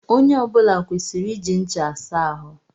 Onye ọ bula kwesịrị iji ncha asa ahụ.